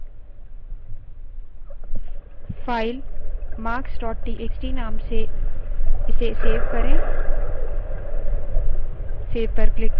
file marks txt नाम से इसे सेव करें सेव save पर क्लिक करें